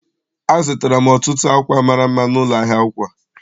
Azụtara m ọtụtụ akwa mara mma n'ụlọ ahịa akwa.